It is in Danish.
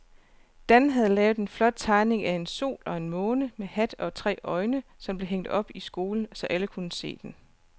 Dan havde lavet en flot tegning af en sol og en måne med hat og tre øjne, som blev hængt op i skolen, så alle kunne se den.